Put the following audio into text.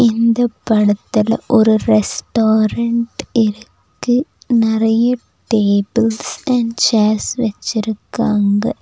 இந்த படத்துல ஒரு ரெஸ்டாரண்ட் இருக்கு நெறைய டேபிள்ஸ் அண்ட் சேர்ஸ் வெச்சிருக்காங்க.